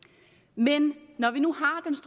men når vi nu